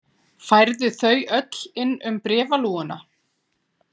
Færðu þau öll inn um bréfalúguna?